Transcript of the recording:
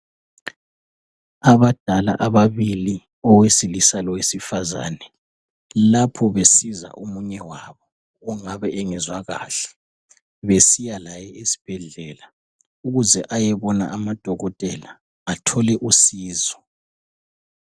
Abadala ababili owesilisa lowesifazane lapho besiza omunye wabo ongabe engezwa kahle besiya laye esibhedlela ukuze ayebona amadokotela athole usizo.